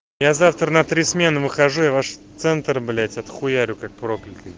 я завтра на три смену выхожу я ваш центр блять отхуярю как проклятый